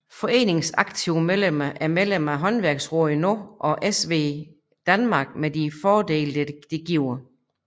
Foreningens aktive medlemmer er medlem af Håndværksrådet nu SMVdanmark med de fordele det giver